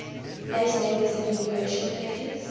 place name disambiguation pages